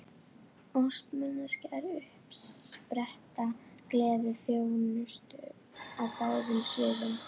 Ást manneskja er uppspretta gleði og þjónustu á báðum sviðum.